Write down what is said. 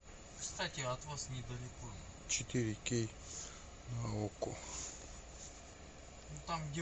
четыре кей на окко